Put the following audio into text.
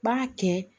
B'a kɛ